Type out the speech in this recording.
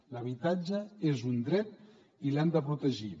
l’habitatge és un dret i l’hem de protegir